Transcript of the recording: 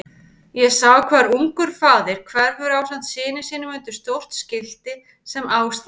Ég sé hvar ungur faðir hverfur ásamt syni sínum undir stórt skilti sem á stendur